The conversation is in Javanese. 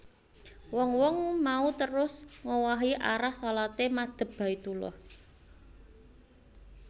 Wong wong mau terus ngowahi arah shalaté madhep Baitullah